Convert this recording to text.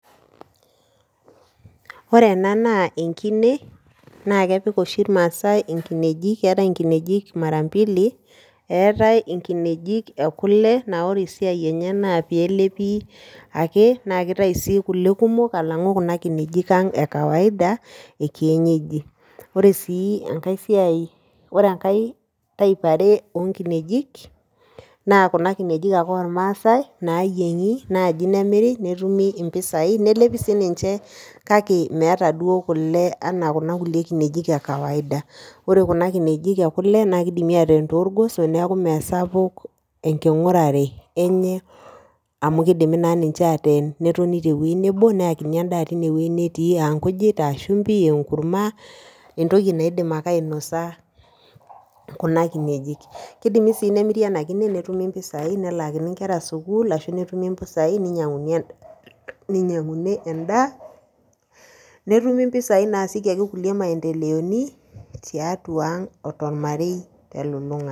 Kore ena naa enkine naakepik oshi ilmaasai inkineji. Keetai inkineji mara mbili, eetai inkineji e kole naa ore esiai enye naa peelepi ake naakeitai sii kole kumok alang'u kuna kinejikang' ekawaida ekienyeji. Ore sii engai siai, orengai type eare oonkinejik naa kuna kinejik ake olmaasai naayieng'i naaji nemiri netumi impisai nelepi siininche kake meata duo kole anaa kuna kulie kinejik ekawaida. Ore kuna kinejik e kole naakeidimi ateen toorgoso neaku meesapuk enking'orare enye amu keidimi naa ninche aateen netoni tewuei nebo neakini endaa tinewuei netii aankujit, aashumbi, eenkurma, entoki naidim ake ainosa kuna kinejik. Keidimi sii nemiri ena kine netumi mpisai nelaakini sukuul ashu netumi mpisai neinyang'uni endaa. Netumi mpisai naasieki ake kulie maendeleoni tiatuang' otolmarei telulung'ata.